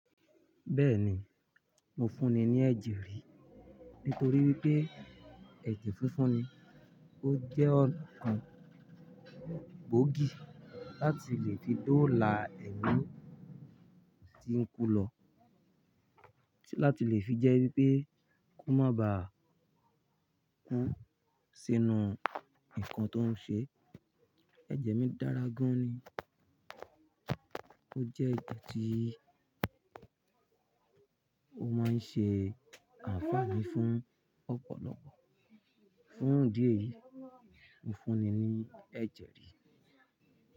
Bẹ́ẹ̀ni, mo fún ni ní ẹ̀jẹ̀ rí nítorí wípé ẹ̀jẹ̀ funfun ni ó jẹ́ ọ̀kan gbóògì láti lè fídòòlà ẹlòmíràn tí ń kú lọ láti lè fi jẹ́ wípé kó má bà kún sínú nǹkan tó ń ṣe. Ẹ̀jẹ̀ mi dára gan ni ó jẹ́ ìtọ̀ tí ó máa ń ṣe àǹfààní fún ọ̀pọ̀lọpọ̀ fún idie yìí. Mo fún ni ní ẹ̀jẹ̀ rí.